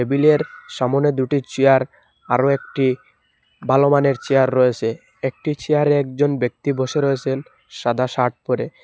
টেবিলের সামনে দুটি চেয়ার আরও একটি ভালো মানের চেয়ার রয়েসে একটি চেয়ারে একজন ব্যক্তি বসে রয়েসেন সাদা শার্ট পরে।